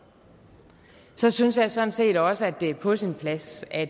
så synes jeg sådan set også at det er på sin plads at